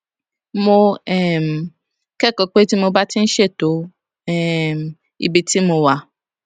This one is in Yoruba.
mo um kékòó pé tí mo bá ń ṣètò um ibi tí mo wà